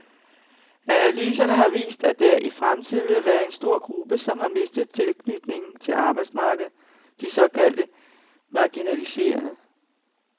Analyserne har vist, at der i fremtiden vil være en stor gruppe, som har mistet tilknytningen til arbejdsmarkedet, de såkaldte marginaliserede.